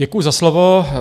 Děkuji za slovo.